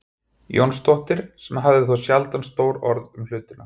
Jónsdóttir sem hafði þó sjaldan stór orð um hlutina.